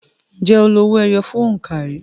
Ǹjẹ́ o lo owó ẹyọ fún òǹkà rí?